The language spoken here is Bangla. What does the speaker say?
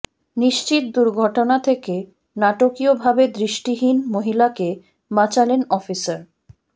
নিশ্চিত দুর্ঘটনা থেকে নাটকীয় ভাবে দৃষ্টিহীন মহিলাকে বাঁচালেন অফিসার